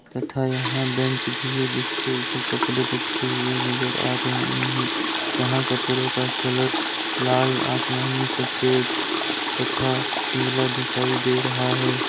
तथा यहां बेंच भी है जिसके ऊपर कपड़े रखे हुए नजर आ रहे हैं जहां कपड़ों का कलर लाल आसमानी सफेद तथा पिला दिखाई दे रहा है।